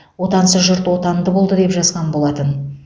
отансыз жұрт отанды болды деп жазған болатын